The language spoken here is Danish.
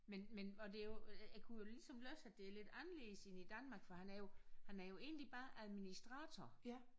Men men og det jo jeg kunne jo ligesom læse at det er lidt anderledes end i Danmark for han er jo han er jo egentlig bare administrator